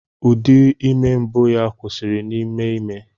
Ụdị ime mbụ ya kwụsịrị n'ime ime.